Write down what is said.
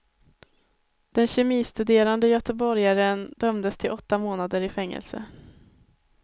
Den kemistuderande göteborgaren dömdes till åtta månader i fängelse.